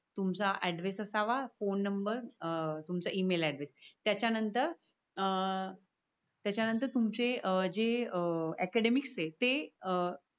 तुमचा ऍड्रेस असाव. Phone number अं तुमचा ई-मेल ऍड्रेस त्या च्या नतर अं तुमचे जे अकॅडेमिकस ते अह